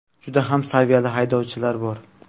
Juda ham saviyali haydovchilar bor.